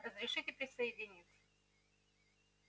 разрешите присоединиться